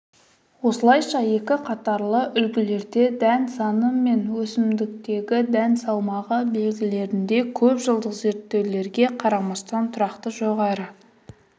осылайша екі қатарлы үлгілерде дән саны мен бір өсімдіктегі дән салмағы белгілерінде көпжылдық зерттеулерге қарамастан тұрақты жоғары